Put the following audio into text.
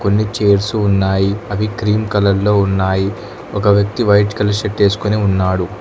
కొన్ని చైర్స్ ఉన్నాయి అవి క్రీం కలర్ లో ఉన్నాయి ఒక వ్యక్తి వైట్ కలర్ షర్ట్ వేసుకొని ఉన్నాడు.